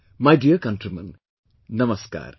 My dear countrymen, Namaskar